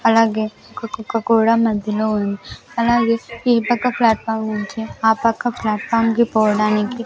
అలాగే ఒక కుక్క కూడా మధ్యలో ఉంది అలాగే ఈ పక్క ఫ్లాట్ఫామ్ నుంచి ఆ పక్క ఫ్లాట్ఫామ్ కి పోడానికి --